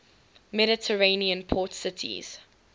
mediterranean port cities